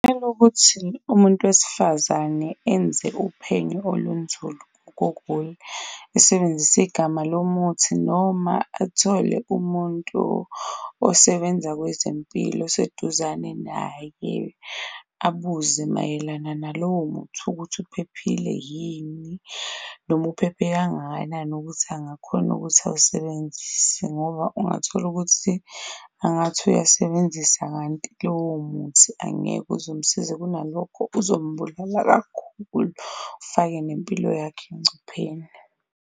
Ekokuthi umuntu wesifazane enze uphenyo olunzulu , esebenzise igama lomuthi noma athole umuntu osebenza kwezempilo oseduzane naye abuze mayelana nalowo muthi ukuthi uphephile yini, noma uphephe kangakanani ukuthi angakhona ukuthi awusebenzise ngoba ungatholukuthi angathi uyayisebenzisa kanti lowo muthi angeke uze umsize kunalokho uzombulala kakhulu, ufake nempilo yakhe engcupheni.